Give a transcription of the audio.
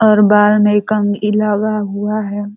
और बाल में एक कंघी लगा हुआ है।